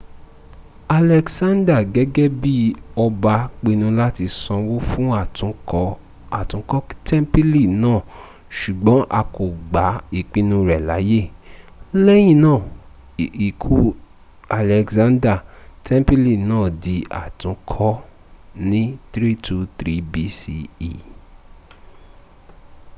alexander gẹ́gẹ bi ọba pinu láti sanwó fún àtúnkọ́ tẹ́ḿpìlì náà sùgbọ́n a kò gba ìpinu rẹ láàyè. lẹ́yìna ikú alexander tẹ́ḿpìlì náà di àtúnkọ ní 323 bce